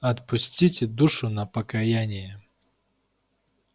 отпустите душу на покаяние